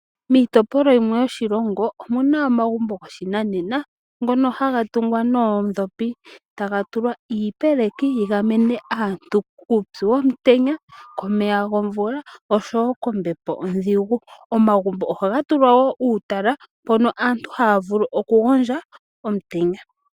Miitopolwa yimwe yoshilongo omuna omagumbo gamwe go shinanena ngono haga tungwa noodhopi, taga tulwa iipeleki yi gamene aantu kuupyu womutenya, komeya gomvula oshowo kombepo odhigu. Omagumbo ohaga tulwa woo uutala mpono aantu ha vulu okugondja omutenya.